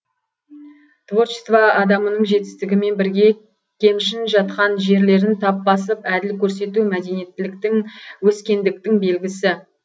творчество адамының жетістігімен бірге кемшін жатқан жерлерін тап басып әділ көрсету мәдениеттіліктің өскендіктің белгісі